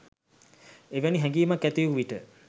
එවැනි හැඟීමක් ඇති වූ විට